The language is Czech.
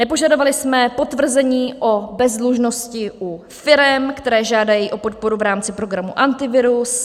Nepožadovali jsme potvrzení o bezdlužnosti u firem, které žádají o podporu v rámci programu Antivirus.